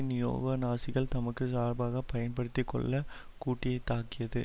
neo நாசிகள் தமக்கு சார்பாக பயன்படுத்தி கொள்ள கூட்டியதாக்கியது